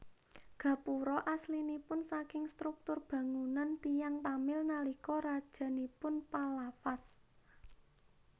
Gapura aslinipun saking struktur bangunan tiyang Tamil nalika rajanipun Pallavas